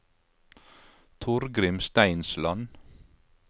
Torgrim Steinsland